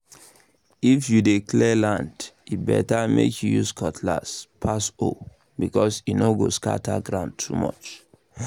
if you dey clear land e better make you use cutlass um pass hoe because e no scatter ground too much